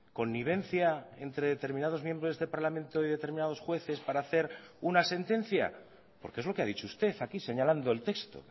connivencia entre determinados miembros de parlamento y determinados jueces para hacer una sentencia porque es lo que ha dicho usted aquí señalando el texto